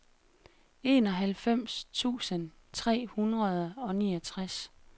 enoghalvfems tusind tre hundrede og niogtres